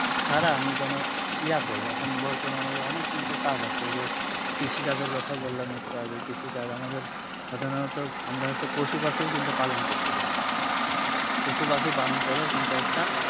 ছাড়া আমি কোনো ইয়ে করবো এখন বর্তমানে অনেক কিন্তু কাজ আছে যে কৃষি কাজ এর কথা বললাম একটু আগেই এখন কৃষি কাজ আমাদের সাধারণত আমরা হচ্ছে পশু পাখিও কিন্তু পালন করতে পারি পশু পাখি পালন করেও কিন্তু একটা